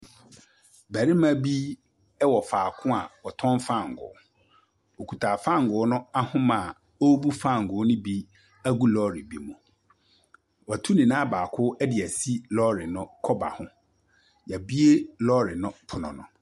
Barima bi wɔ faako a wɔtɔn fangoo. Okita fangoo no ahoma a ɔrebu fangoo ne bi agu lɔɔre bi mu. Watu ne nan baako de asi lɔɔre no kɔba ho. Wɔabue lɔɔre no pono ho.